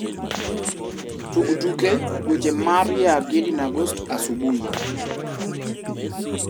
tug tuke weche mar ya gidi na gosti asubuhi